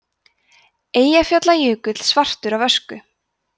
eyjafjallajökull svartur af ösku